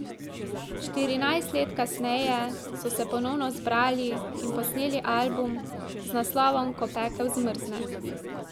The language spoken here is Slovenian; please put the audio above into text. Štirinajst let kasneje so se ponovno zbrali in posneli album z naslovom Ko pekel zmrzne.